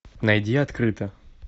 найди открыто